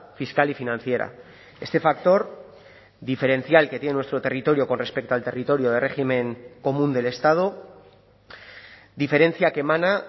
fiscal y financiera este factor diferencial que tiene nuestro territorio con respecto al territorio de régimen común del estado diferencia que emana